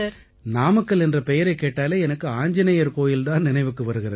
நாமக்கல் என்ற பெயரைக் கேட்டாலே எனக்கு ஆஞ்ஜநேயர் கோயில் தான் நினைவுக்கு வருகிறது